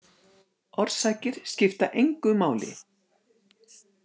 Orsakir skipta engu máli.